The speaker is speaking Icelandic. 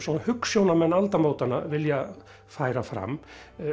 hugsjónamenn aldamótanna vilja færa fram